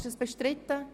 Ist dies bestritten?